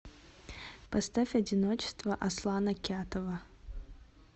поставь одиночество аслана кятова